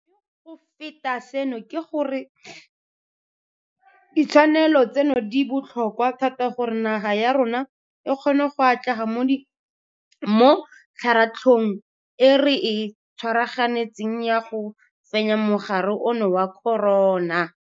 Mme go feta seno ke gore ditshwanelo tseno di botlhokwa thata gore naga ya rona e kgone go atlega mo kgaratlhong e re e tshwaraganetseng ya go fenya mogare ono wa corona.